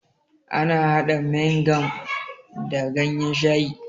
Ana hada Maing kam da ganyen shayi